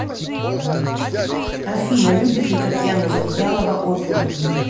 афина любит ли татьяна завьялова оперу